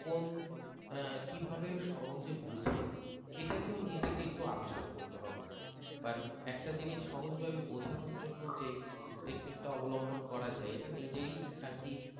কোন কিভাবে সহজে বুঝে এটাকে ও নিজেকে একটু আবিষ্কার করতে হবে বা একটা জিনিস সহজভাবে বোঝানোর জন্য যে টেকনিকটা অবলম্বন করা যায় এটা নিজেই আর কি